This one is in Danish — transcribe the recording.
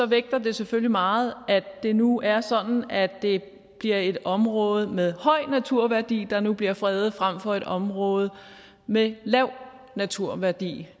vægter det selvfølgelig meget at det nu er sådan at det bliver et område med høj naturværdi der nu bliver fredet frem for et område med lav naturværdi